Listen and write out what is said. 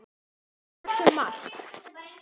Hún var að hugsa um Mark.